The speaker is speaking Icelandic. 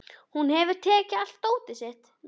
Hún hefur tekið allt dótið sitt.